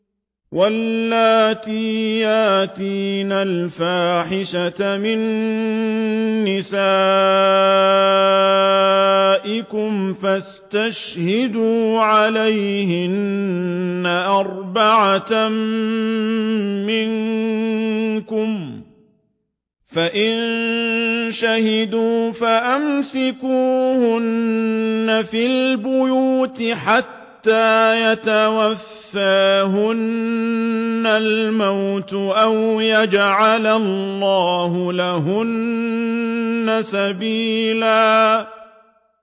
وَاللَّاتِي يَأْتِينَ الْفَاحِشَةَ مِن نِّسَائِكُمْ فَاسْتَشْهِدُوا عَلَيْهِنَّ أَرْبَعَةً مِّنكُمْ ۖ فَإِن شَهِدُوا فَأَمْسِكُوهُنَّ فِي الْبُيُوتِ حَتَّىٰ يَتَوَفَّاهُنَّ الْمَوْتُ أَوْ يَجْعَلَ اللَّهُ لَهُنَّ سَبِيلًا